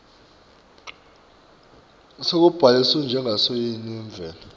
sekubhaliswa njengasosayensi wemvelo